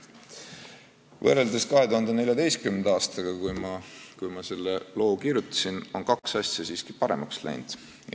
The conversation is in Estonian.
Võrreldes 2014. aastaga, kui ma selle loo kirjutasin, on kaks asja siiski paremaks läinud.